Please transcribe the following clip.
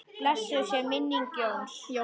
Blessuð sé minning Jóns.